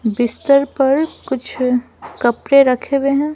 बिस्तर पर कुछ कपड़े रखे हुए हैं।